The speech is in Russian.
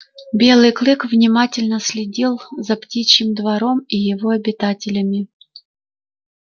белый клык внимательно следил за птичьим двором и его обитателями